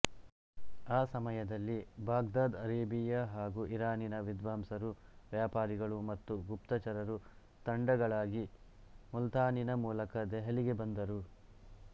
ಆ ಸಮಯದಲ್ಲಿ Baghdad Arabia ಹಾಗೂ ಇರಾನಿನ ವಿದ್ವಾಂಸರು ವ್ಯಾಪಾರಿಗಳು ಮತ್ತು ಗುಪ್ತಚರರು ತಂಡಗಳಾಗಿ ಮುಲ್ತಾನಿನ ಮೂಲಕ ದೆಹಲಿಗೆ ಬಂದರು